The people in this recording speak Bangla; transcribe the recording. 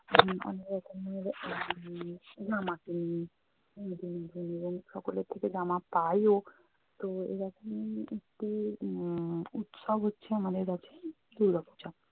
আমরা অনেক রকম উম জামা কিনি নতুন নতুন এবং সকলের থেকে জামা পাইও। তো এরকম একটি উম উৎসব হচ্ছে আমাদের কাছে দুর্গাপূজা।